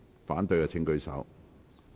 反對的請舉手。